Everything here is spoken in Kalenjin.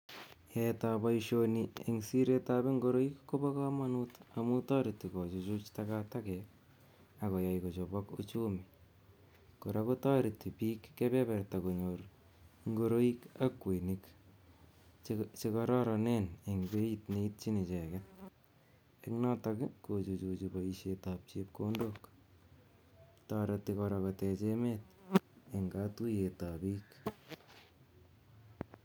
Yaetab boishoni en siretab ing'oroik kobokomonut amuun toreti kochuchut takatakek akoyai kochobok uchumi, kora kotereti biik kebeberta konyor ing'oroik ak kwoyonik chekororonen en beit neityin icheket ak notok kochuchuche boishetab chepkondok, toreti kora kotech emet en kotuyetab biik.